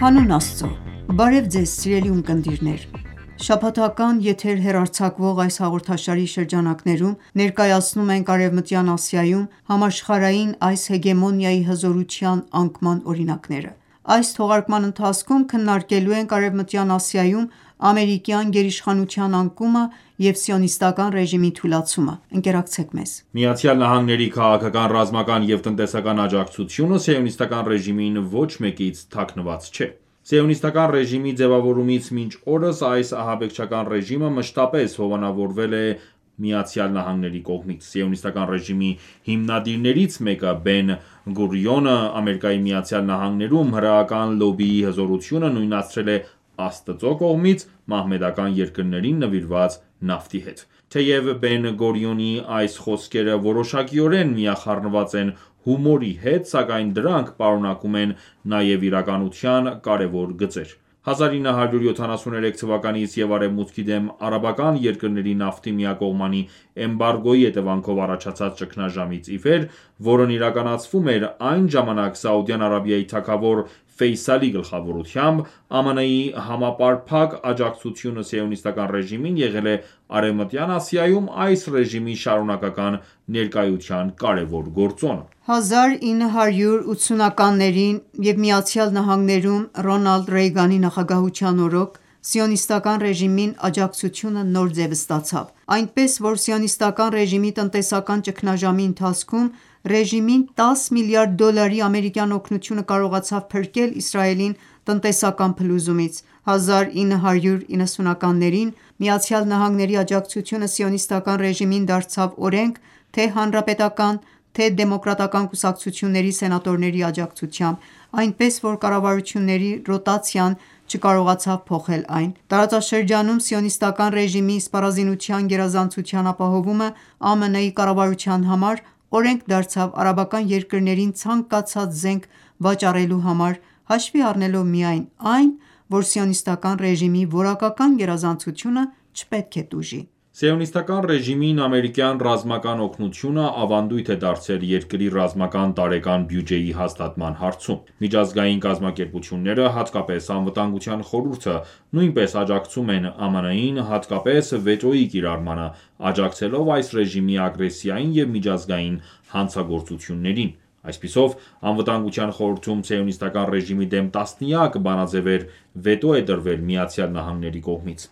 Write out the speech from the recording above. Հանուն Աստծո, Բարև Ձեզ սիրելի ունկնդիրներ:Շաբաթական եթեր հեռարձակվող այս հաղորդաշարի շրջանակներում ներկայացնում ենք Արևմտյան Ասիայում համաշխարհային այս հեգեմոնիայի հզորության անկման օրինակները։ Այս թողարկման ընթացքում քննարկելու ենք Արեւմտյան Ասիայում ամերիկյան գերիշխանության անկումը եւ Սիոնիստական ​​ռեժիմի թուլացումը։ Ընկերակցեք մեզ: ԱՄՆ-ի քաղաքական, ռազմական և տնտեսական աջակցությունը Սիոնիստական ​​ռեժիմին ոչ մեկից թաքցված չէ։ Սիոնիստական ​​ռեժիմի ձևավորումից մինչ օրս այս ահաբեկչական ռեժիմը մշտապես հովանավորվել է ԱՄՆ-ի կողմից։ Սիոնիստական ​​ռեժիմի հիմնադիրներից մեկը՝ Բեն-Գուրիոնը, ԱՄՆ-ում հրեական լոբբիի հզորությունը նույնացրել է Աստծո կողմից մահմեդական երկրներին նվիրված նավթի հետ։ Թեև Բեն-Գուրիոնի այս խոսքերը որոշակիորեն միախառնված են հումորի հետ, սակայն դրանք պարունակում են նաև իրականության կարևոր գծեր։ 1973 թվականից և Արևմուտքի դեմ արաբական երկրների նավթի միակողմանի էմբարգոյի հետևանքով առաջացած ճգնաժամից իվեր, որն իրականացվում էր այն ժամանակ Սաուդյան Արաբիայի թագավոր գլխավորությամբ, ԱՄՆ-ի համապարփակ աջակցությունը Սիոնիստական ​​ռեժիմին եղել է Արևմտյան Ասիայում այս ռեժիմի շարունակական ներկայության կարևոր գործոնը։ 1980-ականներին և ԱՄՆ-ում Ռոնալդ Ռեյգանի նախագահության օրոք, Սիոնիստական ​​ռեժիմին աջակցությունը նոր ձև ստացավ, այնպես որ Սիոնիստական ​​ռեժիմի տնտեսական ճգնաժամի ընթացքում ռեժիմին 10 միլիարդ դոլարի ամերիկյան օգնությունը կարողացավ փրկել Իսրայելին տնտեսական փլուզումից: 1990-ականներին ԱՄՆ-ի աջակցությունը Սիոնիստական ​​ռեժիմին դարձավ օրենք թե՛ հանրապետական, թե՛ դեմոկրատական ​​կուսակցությունների սենատորների աջակցությամբ, այնպես որ կառավարությունների ռոտացիան չկարողացավ փոխել այն: Տարածաշրջանում Սիոնիստական ​​ռեժիմի սպառազինության գերազանցության ապահովումը ԱՄՆ կառավարության համար օրենք դարձավ արաբական երկրներին ցանկացած զենք վաճառելու համար՝ հաշվի առնելով միայն այն, որ Սիոնիստական ​​ռեժիմի որակական գերազանցությունը չպետք է տուժի։ Սիոնիստական ​​ռեժիմին ամերիկյան ռազմական օգնությունը ավանդույթ է դարձել երկրի ռազմական տարեկան բյուջեի հաստատման հարցում: Միջազգային կազմակերպությունները, հատկապես Անվտանգության խորհուրդը, նույնպես աջակցում են ԱՄՆ-ին, հատկապես վետոյի կիրառմանը, աջակցելով այս ռեժիմի ագրեսիային և միջազգային հանցագործություններին։ Այսպիսով, Անվտանգության խորհրդում Սիոնիստական ​​ռեժիմի դեմ տասնյակ բանաձեւեր վետո են դրվել ԱՄՆ-ի կողմից: